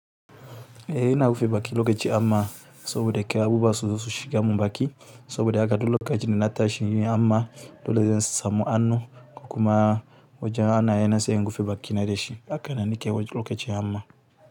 Eh ina gmrufe baki lokaci hamma saboda kar abubuwa su zo su shiga mun baƙi, saboda haka duk lokacin da na tashi amma dole zan samu hannu kuma wajen hannaye na sai in rufe bakina da shi, haka na nike lokaci hamma.